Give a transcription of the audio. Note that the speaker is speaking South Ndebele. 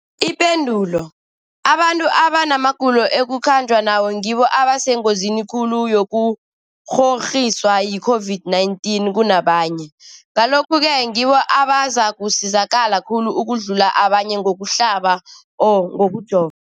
Ipendulo, abantu abanamagulo ekukhanjwa nawo ngibo abasengozini khulu yokukghokghiswa yi-COVID-19 kunabanye, Ngalokhu-ke ngibo abazakusizakala khulu ukudlula abanye ngokuhlaba, ngokujova.